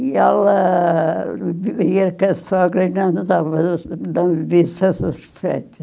E ela vivia com a sogra e não vivia satisfeita.